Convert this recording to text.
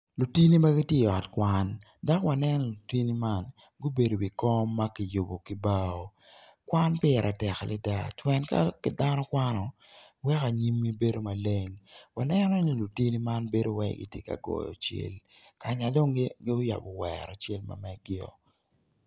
Lutini ma gitye i ot kwan dok waneno lutini man gubedo i wi kom ma kiyubo kibao kwan pire tek ada pien ka dano kwano weko anyimmi bedo maleng lutino man gibedo calo gitye ka goyo cel ka ma gucako wero celgi woko.